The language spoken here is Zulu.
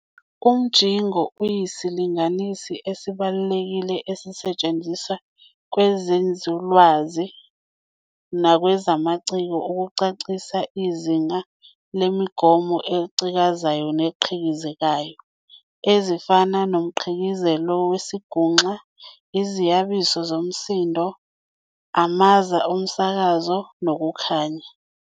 Umjingo uyisilinganisi esibaluekile esisetshenziswa kwezenzululwazi nakwezomngcikisho ukucacisa izinga lezimongotho ezicikazayo neziqhikizekayo, ezifana nomqhikizeko wezinguxa, iziyabizo zomsindo, amaza womsakazo, nokukhanya.